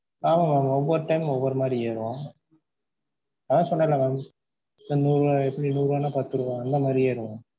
ஆமா mam ஒவ்வொரு time ஒவ்வொரு மாதிரி ஏறும் அதான் சொன்னேன்ல mam நூறு நூறு ரூபான்னா எப்படி பத்து ரூபா அந்த மாதிரி ஏறும்.